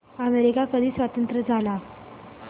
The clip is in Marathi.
अमेरिका कधी स्वतंत्र झाला